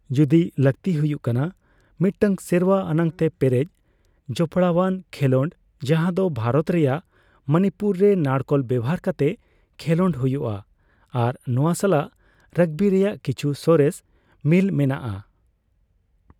ᱡᱩᱫᱤ ᱞᱟᱠᱛᱤ ᱦᱩᱭᱩᱜ ᱠᱟᱱᱟ ᱢᱤᱫᱴᱟᱝ ᱥᱮᱨᱣᱟ ᱟᱱᱟᱜ ᱛᱮ ᱯᱮᱨᱮᱡ ᱡᱚᱯᱟᱲᱟᱣᱟᱱ ᱠᱷᱮᱞᱚᱰ ᱡᱟᱦᱟᱫᱚ ᱵᱷᱟᱨᱚᱛ ᱨᱮᱭᱟᱜ ᱢᱚᱱᱤᱯᱩᱨ ᱨᱮ ᱱᱟᱲᱠᱳᱞ ᱵᱮᱣᱦᱟᱨ ᱠᱟᱛᱮ ᱠᱷᱮᱞᱳᱜ ᱦᱩᱭᱩᱜᱼᱟ, ᱟᱨ ᱱᱚᱣᱟ ᱥᱟᱞᱟᱜ ᱨᱟᱜᱵᱤ ᱨᱮᱭᱟᱜ ᱠᱤᱪᱷᱩ ᱥᱚᱨᱮᱥ ᱢᱤᱞ ᱢᱮᱱᱟᱜᱼᱟ ᱾